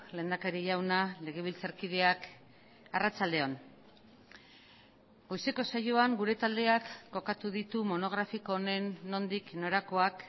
lehendakari jauna legebiltzarkideak arratsaldeon goizeko saioan gure taldeak kokatu ditu monografiko honen nondik norakoak